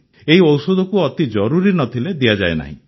ଏହି ଔଷଧକୁ ଅତି ଜରୁରୀ ନ ଥିଲେ ଦିଆଯାଏ ନାହିଁ